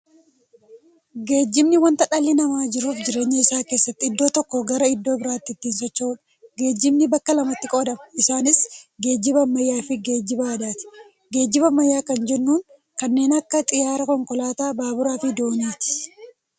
Geejibni wanta dhalli namaa jiruuf jireenya isaa keessatti iddoo tokkoo garaa iddoo biraatti ittiin socho'uudha. Geejibni bakka lamatti qoodama. Isaanis, geejiba ammayyaafi geejiba aadaati. Geejiba ammayyaa kan jennuun kanneen akka xiyyaaraa, konkolaataa, baaburafi dooniiti.